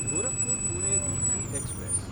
Gorakhpur Pune weekly express